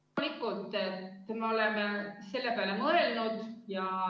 Loomulikult me oleme selle peale mõelnud.